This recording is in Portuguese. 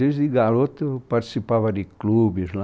Desde garoto eu participava de clubes lá.